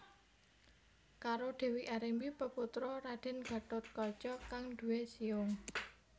Karo Dewi Arimbi peputra Raden Gathotkaca kang duwé siung